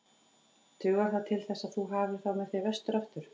Dugar það til þess að þú hafir þá með þér vestur aftur?